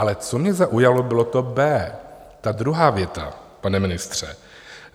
Ale co mě zaujalo, bylo to B, ta druhá věta, pane ministře.